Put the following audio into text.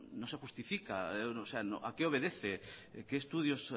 no se justifica a qué obedece qué estudios